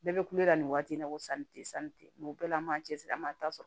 Bɛɛ bɛ kulela nin waati in na ko sanni tɛ sanni tɛ mɛ o bɛɛ la an b'a cɛsiri an b'a ta sɔrɔ